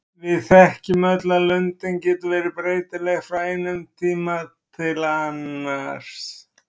Við þekkjum öll að lundin getur verið breytileg frá einum tíma til annars.